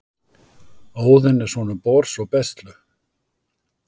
Óðinn er sonur Bors og Bestlu.